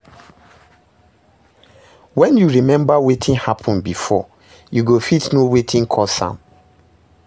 wen yu remmba wetin hapun bifor, yu go fit no wetin cause am